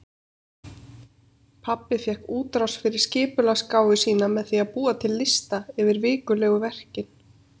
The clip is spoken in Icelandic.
Pabbi fékk útrás fyrir skipulagsgáfu sína með því að búa til lista yfir vikulegu verkin.